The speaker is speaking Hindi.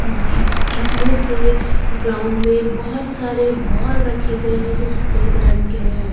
इ इसमें से ग्राउंड में बहोत सारे बॉल रखे गए हैं जो सफेद रंग के हैं।